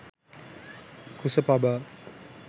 kusa paba